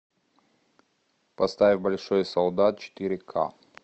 поставь большой солдат четыре ка